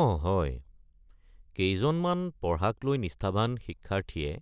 অঁ হয়, কেইজনমান পঢ়াক লৈ নিষ্ঠাৱান শিক্ষাৰ্থীয়ে